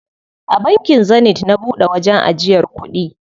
A bankin Zenith na buɗe wajen ajiyar kuɗi.